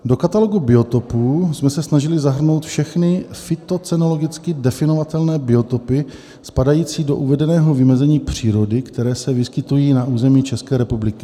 Do katalogu biotopů jsme se snažili zahrnout všechny fytocenologicky definovatelné biotopy spadající do uvedeného vymezení přírody, které se vyskytují na území České republiky.